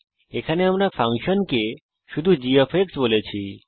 এখানে ফাংশনকে আমরা শুধু gবলেছি